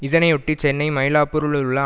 இதனையொட்டி சென்னை மயிலாப்பூரில் உள்ள